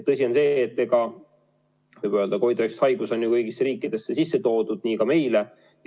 Tõsi on see, et võib öelda, et COVID-19 haigus on ju kõigis riikides sisse toodud, nii ka meil.